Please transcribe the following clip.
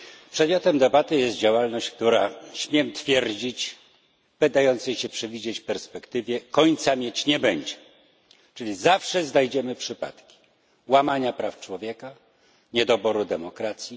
Przedmiotem debaty jest działalność, która, śmiem twierdzić, w zbliżającej się perspektywie końca mieć nie będzie, gdyż zawsze znajdziemy przypadki łamania praw człowieka, niedoboru demokracji.